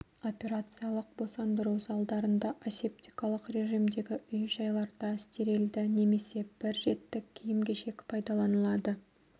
операциялық босандыру залдарында асептикалық режимдегі үй-жайларда стерилді немесе бір реттік киім-кешек пайдаланылады